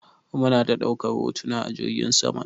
Muna ta ɗaukar hotuna a jirgin saman.